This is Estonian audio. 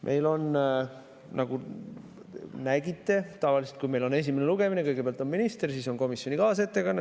Meil on tavaliselt, kui on esimene lugemine, kõigepealt meie ees minister, siis on komisjoni kaasettekanne.